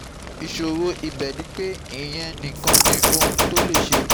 Ìṣòro ibẹ̀ ni pé ìyẹn nìkan ni ohun tó lè ṣe